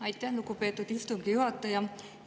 Aitäh, lugupeetud istungi juhataja!